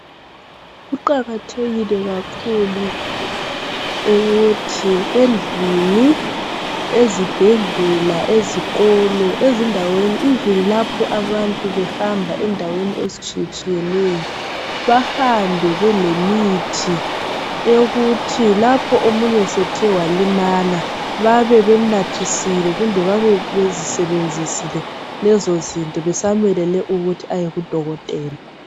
Kuqakathekile kakhulu ukuthi endlini ,ezibhedlela ,ezikolo ,ezindaweni. Even lapho abantu behamba endaweni ezitshiye tshiyeneyo. Bahambe belemithi eyokuthi lapho omunye esethe walimala babe bemnathisile . Kumbe babe besebenzisile lezozinto besamelele ukuthi aye kudokotela.